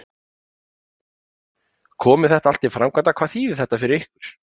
Gísli Óskarsson: Komi þetta allt til framkvæmda, hvað þýðir þetta fyrir ykkur?